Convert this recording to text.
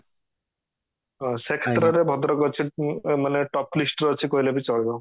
ସେ କ୍ଷେତ୍ର ରେ ଭଦ୍ରକ ଅଛି ମାନେ top list ରେ ଅଛି କହିଲେ ବି ଚଳିବ